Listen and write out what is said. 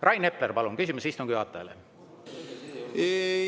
Rain Epler, palun, küsimus istungi juhatajale!